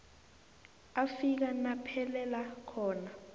afika naphelela khona